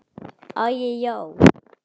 Æi, já.